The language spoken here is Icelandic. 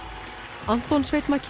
Anton Sveinn